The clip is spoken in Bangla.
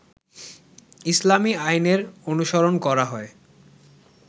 ইসলামী আইনের অনুসরণ করা হয়